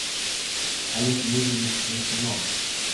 олег юрьевич свистунов